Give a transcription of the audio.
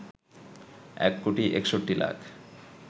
১ কোটি ৬১ লাখ